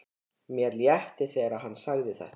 Mér létti þegar hann sagði þetta.